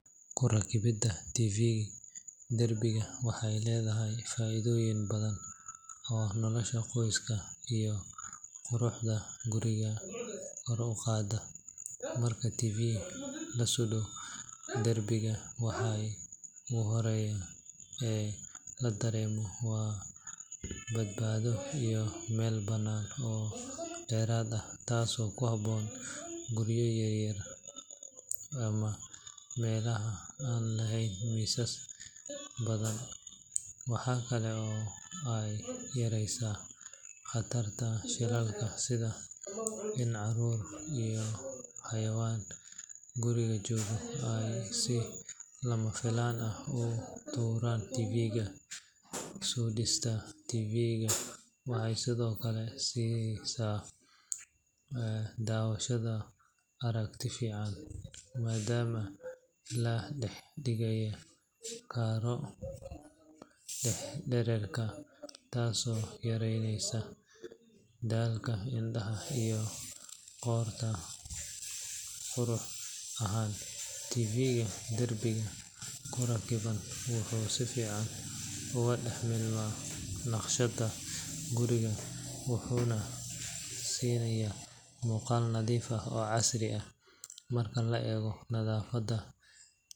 Kurakibida Tv darbiga waxey leedahy faaidooyin badan oo nolosha qoyska iyo quruhda guriga koruqaada. Marka Tv lasudo darbiga waxey uhoreya e ladaremo waa badbaafo iyo Mel banaad oo deraad ah taas oo kuhaboon guriya yaryar ama melaha aan laheyn miisas badan. Waxaa kale oo ayyareysa qatarka shilalka sida Dan caruur iyo xayawaan guriga joogo si lamafilaan ah utuuraan Tvga. Sudista Tvga waxey sidhookale sisaa dawashada aragti fican madama ladahdigaya kaaro dararka taso yareyneysa daalka indaha iyo qoorta . Quruhahaan Tvga darbiga kurakiban wuxu sifican ugadaxmuqda naqshada guriga wuxuna sinaya muqaal nadiif ax oo casriya markii laeego nadaafada.